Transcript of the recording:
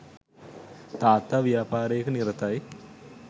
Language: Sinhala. තාත්තා ව්‍යාපාරයක නිරතයි